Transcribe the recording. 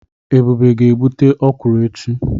Ebube ga-egbute okwụrụ echi.